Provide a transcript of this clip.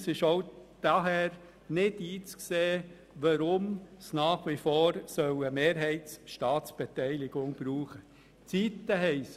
Es ist daher nicht einzusehen, weshalb es nach wie vor eine staatliche Mehrheitsbeteiligung brauchen soll.